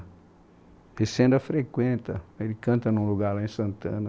Esse ainda frequenta, ele canta num lugar lá em Santana.